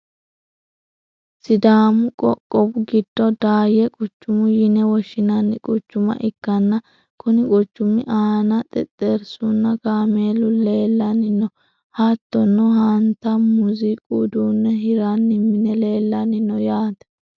sidaamu qoqowi giddo daayye qucuma yine woshshinanni quchuma ikkanna, konni qucumi aana xexxerisunna kaameelu leelanni no. hattono hanta muuziiqu uduunne hirranni mini leellanni no yaate.